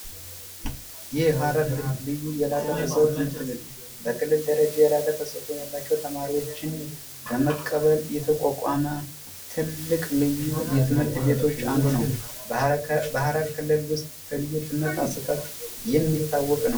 የሐረሪ ዩኒቨርስቲ በክልል ደረጃ የላቀ ተሰጥኦ ያላቸው ልጆች ለመቀበል የተቋቋመ ትልቅ ትምህርት ቤቶች አንዱ ነው በሀረር ከተማ ክልል ውስጥ በልዩ ትምህርት አሰጣጥ የሚታወቅ ነው።